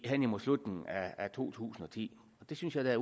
hen imod slutningen af to tusind og ti det synes jeg da